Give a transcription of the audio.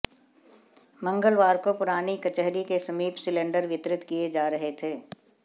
मंगलवार को पुरानी कचहरी के समीप सिलेंडर वितरित किए जा रहे थे